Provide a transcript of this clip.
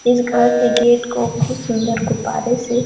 इस घर के गेट को बहुत सुंदर गुब्बारे से--